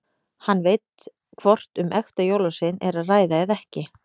Hann veit hvort um ekta jólasvein er að ræða eða ekki.